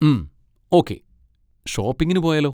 ഉം, ഓക്കേ, ഷോപ്പിങ്ങിന് പോയാലോ?